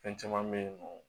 Fɛn caman bɛ yen nɔ